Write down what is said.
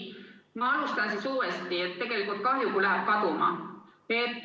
Ma alustan siis uuesti, tegelikult on kahju, kui läheb kaduma.